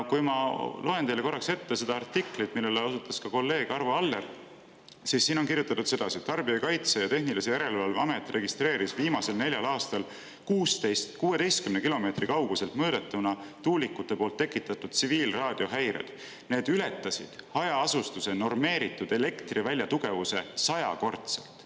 Ma loen teile korraks ette seda artiklit, millele osutas ka kolleeg Arvo Aller, kus on kirjutatud sedasi, et Tarbijakaitse ja Tehnilise Järelevalve Amet registreeris viimasel neljal aastal 16 kilomeetri kauguselt mõõdetuna tuulikute poolt tekitatud tsiviilraadiohäireid, mis ületasid hajaasustuse normeeritud elektrivälja tugevuse sajakordselt.